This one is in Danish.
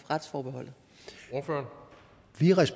retsforbeholdet